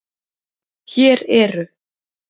Hér eru